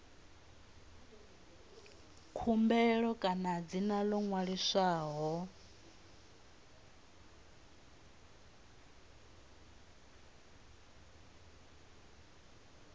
khumbelo kana dzina ḽo ṅwaliswaho